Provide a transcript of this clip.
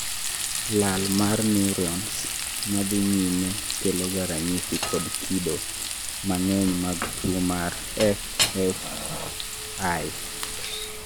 lal mar neurons madhii nyime keloga ranyisi kod kido mang'eny mag tuwo mar FFI